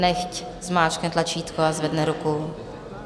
Nechť zmáčkne tlačítko a zvedne ruku.